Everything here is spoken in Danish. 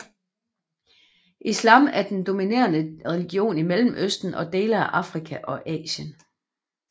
Islam er den dominerende religion i Mellemøsten og dele af Afrika og Asien